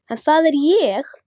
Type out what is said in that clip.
En það er ég.